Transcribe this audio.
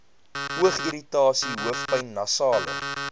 oogirritasie hoofpyn nasale